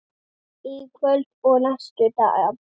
Í kvöld og næstu daga?